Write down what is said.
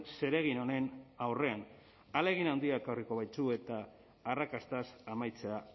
zeregin honen aurrean ahalegin handia ekarriko baitu eta arrakastaz amaitzea